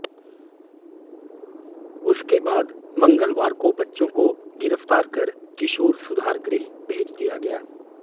उसके बाद मंगलवार को बच्चों को गिरफ्तार कर किशोर सुधार गृह भेज दिया गया